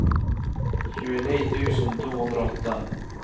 tjueni tusen to hundre og åtte